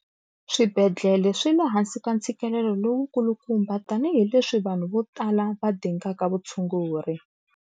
Swibedhlele swi le hansi ka ntshikelelo lowukulukumba tanihileswi vanhu vo tala va dingaka vutshunguri.